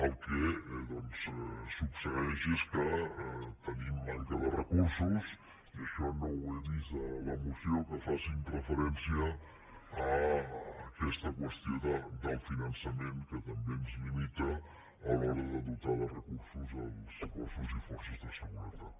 el que succeeix és que tenim manca de recursos i això no ho he vist en la moció que facin referència a aquesta qüestió del finançament que també ens limita a l’hora de dotar de recursos els cossos i forces de seguretat